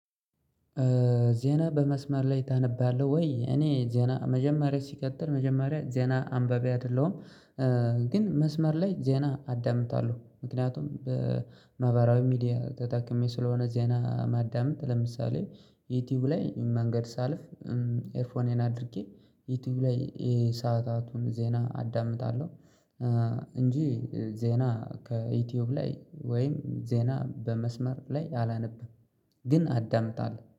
ዜና በመስመር ላይ ታነባለህ ወይ? እኔ ዜና መጀመሪያ ሲቀጥል መጀመሪያ ዜና አንባቢ አይደለሁም። ግን መስመር ላይ ዜና አዳምጣለሁ ምክንያቱም በማህበራዊ ሚዲያ ተጠቅሜ ስለሆነ ዚያና ማዳመጥ ለምሳሌ ዩቲዩብ ላይ መንገድ ሳልፍ ኤርፎን አድርጌ ዩቲዩብ ላይ የሰአታቱን ዜና አዳምጣለሁ። እንጂ ዜና ከዩቲዩብ ላይ ወይም ዜና በመስመር ላይ አላነብም። ግን አዳምጣለሁ